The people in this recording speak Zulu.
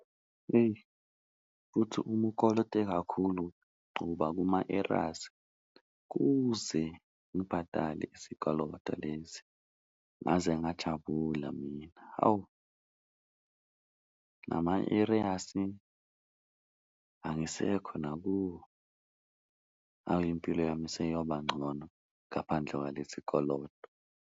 Eyi futhi uma ukolote kakhulu uba kuma-arrears kuze ngibhadale isikoloto lesi ngaze ngajabula mina, hawu nama-arrears angisekho nakuwo hawu impilo yami seyoba ngcono ngaphandle kwalesi koloto.